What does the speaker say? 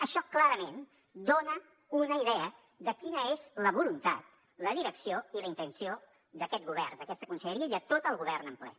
això clarament dona una idea de quina és la voluntat la direcció i la intenció d’aquest govern d’aquesta conselleria i de tot el govern en ple